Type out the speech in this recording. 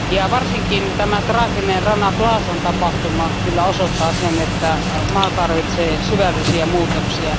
Varsinkin tämä traaginen Rana Plazan tapahtuma kyllä osoittaa sen, että maa tarvitsee syvällisiä muutoksia.